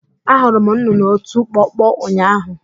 Ahụrụ m nnụnụ ọtụ kpọkpọ ụnyahụ